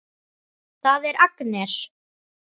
Það er Agnes.